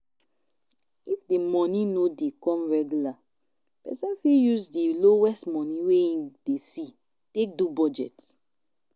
if money no dey come regular person fit use di lowest money wey im dey see take do budget